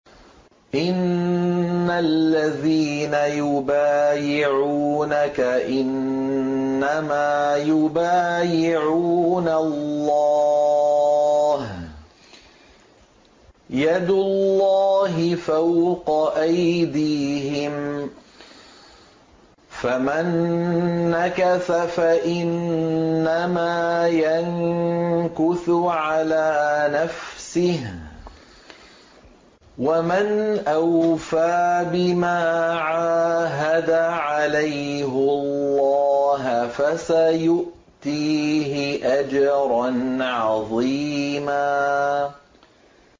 إِنَّ الَّذِينَ يُبَايِعُونَكَ إِنَّمَا يُبَايِعُونَ اللَّهَ يَدُ اللَّهِ فَوْقَ أَيْدِيهِمْ ۚ فَمَن نَّكَثَ فَإِنَّمَا يَنكُثُ عَلَىٰ نَفْسِهِ ۖ وَمَنْ أَوْفَىٰ بِمَا عَاهَدَ عَلَيْهُ اللَّهَ فَسَيُؤْتِيهِ أَجْرًا عَظِيمًا